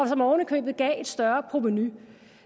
som oven i købet gav et større provenu